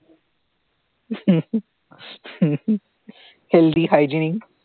healthy hygienic